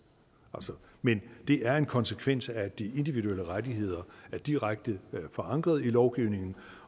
men det er en konsekvens af at de individuelle rettigheder er direkte forankret i lovgivningen